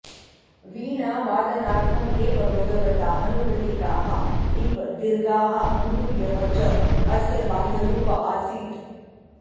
वीणावादनार्थम् एव भगवता अनुग्रहिताः इव दीर्घाः अङ्गुल्यः च अस्य बाह्यरूप आसीत्